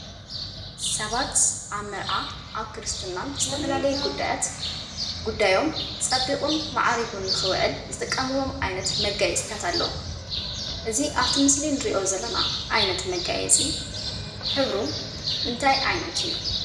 ሰባት ኣብ መርዓ ኣብ ክርስትና ዝተፈላለዩ ጉዳያት ጉዳዮሞ ፀቡቁን ማዕሪጉን ንከዉዒል ዝጥቀምዊሞ ዓይነት መጋየፂታት ኣለዉ። እዚ ኣብቲ ምሰሊ አንሪኦ ዘለና ዓይነት መጋየፂ ሕቡሩ እንታይ ዓይነት እዩ?